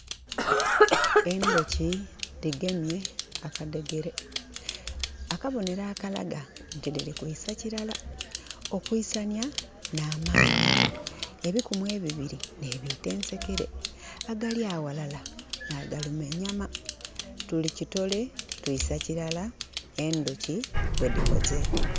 Endhoki dhigemye akadhegere akabonhero akalagah nti dhiri kwisa kirala okwisanya nhamanhi ebikumu ebibiri nhe biita ensekere agali aghalala nha agaluma enyama. Tuli kitole twisa kirala endhoki bwedhikoze.